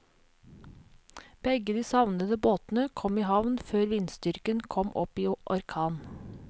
Begge de savnede båtene kom i havn før vindstyrken kom opp i orkan.